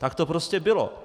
Tak to prostě bylo.